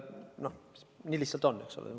Nii lihtsalt on.